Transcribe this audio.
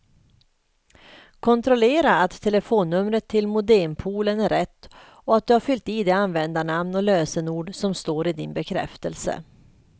Kontrollera att telefonnumret till modempoolen är rätt och att du har fyllt i det användarnamn och lösenord som står i din bekräftelse.